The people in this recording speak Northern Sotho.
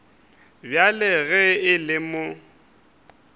bjale ge e le mo